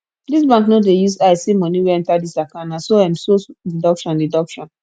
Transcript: dis bank no dey use eye see moni wey enta dis account na so um so deduction deduction